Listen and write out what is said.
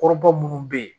Kɔrɔba minnu bɛ yen